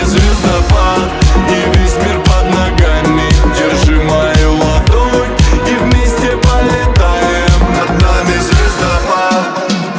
сбербанк